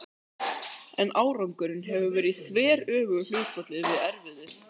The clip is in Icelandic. En árangurinn hefur verið í þveröfugu hlutfalli við erfiðið.